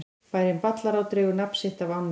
Bærinn Ballará dregur nafn sitt af ánni.